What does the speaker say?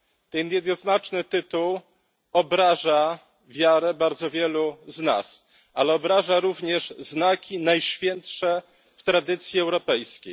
Ten jednoznaczny tytuł obraża wiarę bardzo wielu z nas, ale obraża również znaki najświętsze w tradycji europejskiej.